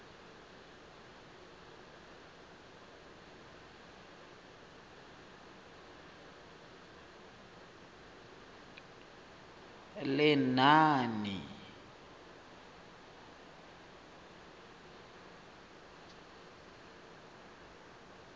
lenaane